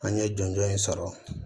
An ye jɔnjɔn in sɔrɔ